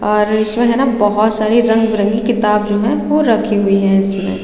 और इसमें है न बहुत सारी रंग बिरंगी किताब जो है वो रखी हुई है इसमें --